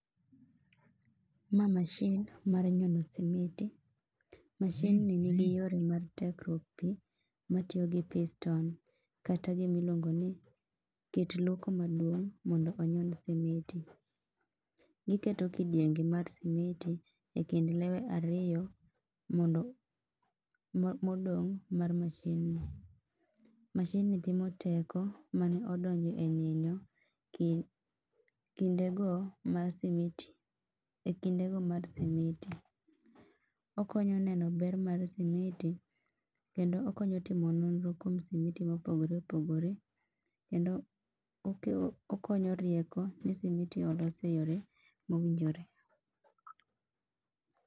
Ma mashin mar nyono simiti. Mashinni nigi yore mar tekruok pi matiyo gi piston kata gimiluongo ni kit loko maduong' mondo onyon simiti. Gikete kidienge mar simiti e kind lewe ariyo modong' mar mashinni. Mashinni pimo teko mane odonjo e nyinyo e kindego mar simiti. Okonyo neno ber mar simiti kendo okonyo timo nonro kuom simiti mopogore opogore kendo okonyo rieko ni simiti olos e yore mowinjore.